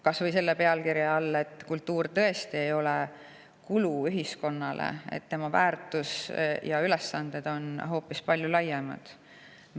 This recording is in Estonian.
Kas või selle pealkirja all, et kultuur tõesti ei ole ühiskonnale kulu, tema väärtus ja ülesanded on hoopis laiemad.